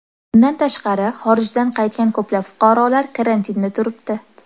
Bundan tashqari, xorijdan qaytgan ko‘plab fuqarolar karantinda turibdi.